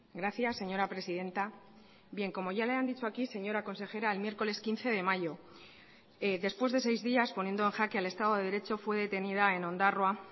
gracias señora presidenta bien como ya le han dicho aquí señora consejera el miércoles quince de mayo después de seis días poniendo en jaque al estado de derecho fue detenida en ondarroa